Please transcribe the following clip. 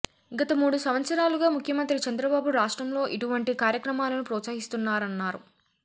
గత మూడు సంవత్సరాలుగా ముఖ్యమంత్రి చంద్రబాబు రాష్ట్రంలో ఇటువంటి కార్యక్రమాలను ప్రోత్సహిస్తున్నారన్నారు